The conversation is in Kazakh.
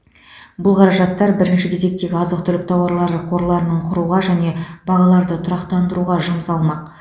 бұл қаражаттар бірінші кезектегі азық түлік тауарлары қорларының құруға және бағаларды тұрақтандыруға жұмсалмақ